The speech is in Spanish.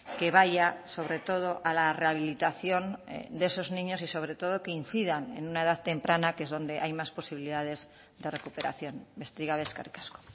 que vaya sobre todo a la rehabilitación de esos niños y sobre todo que incidan en una edad temprana que es donde hay más posibilidades de recuperación besterik gabe eskerrik asko